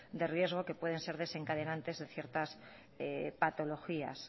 de riesgo que pueden ser desencadenantes de ciertas patologías